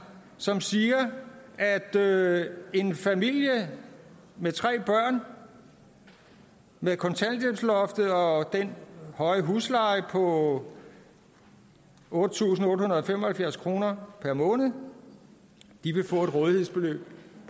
som siger at at en familie med tre børn med kontanthjælpsloftet og den høje husleje på otte tusind otte hundrede og fem og halvfjerds kroner per måned vil